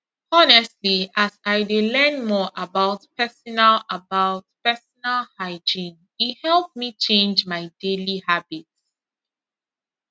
honestly as i dey learn more about personal about personal hygiene e help me change my daily habits